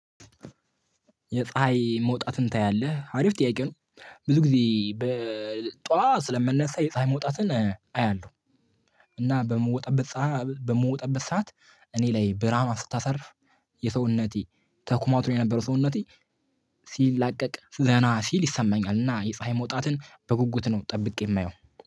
የፀሀይ መውጣትን ታያለህ አሪፍ ጥያቄ ነው። ብዙ ጊዜ በጧት ስለምነሳ የፀሀይ መውጣትን አያለሁ። እና በምወጣበት በምወጣበት ሰዓት እኔ ላይ ብርሃኗን ስታሳርፍ የሰውነቴ ተኮማትሮ የነበረው ሰውነቴ ሲል ላቀቅ ዘና ሲል ይሰማኛል። እና የፀሀይ መውጣትን በጉጉት ነው ጠብቄ የማየው